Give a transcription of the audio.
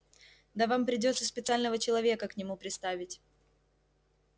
да вам придётся специального человека к нему приставить